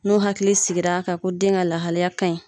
N'o hakili sigira ka ko den ka lahalaya ka ɲi.